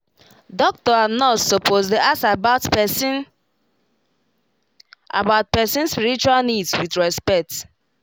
doctor and nurse suppose dey ask about person about person spiritual needs with respect